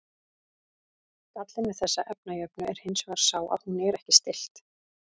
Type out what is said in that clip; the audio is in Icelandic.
Gallinn við þessa efnajöfnu er hins vegar sá að hún er ekki stillt.